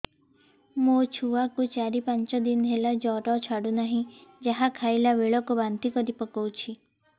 ମୋ ଛୁଆ କୁ ଚାର ପାଞ୍ଚ ଦିନ ହେଲା ଜର ଛାଡୁ ନାହିଁ ଯାହା ଖାଇଲା ବେଳକୁ ବାନ୍ତି କରି ପକଉଛି